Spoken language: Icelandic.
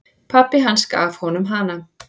Pabbi hans gaf honum hana.